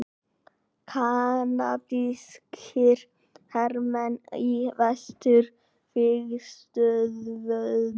Kanadískir hermenn á vesturvígstöðvunum.